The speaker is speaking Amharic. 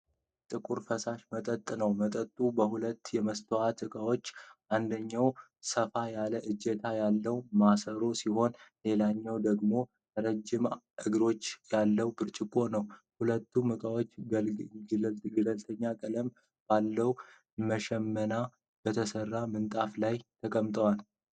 ጥቁር፣ ፈሳሽ መጠጥ ነው። መጠጡ በሁለት የመስታወት ዕቃዎች አንደኛው ሰፋ ያለ እጀታ ያለው ማሰሮ ሲሆን ሌላኛው ደግሞ ረጅም እግር ያለው ብርጭቆ ነው። ሁለቱም እቃዎች ገለልተኛ ቀለም ባለው በሽመና በተሰራ ምንጣፍ ላይ ተቀምጠዋል።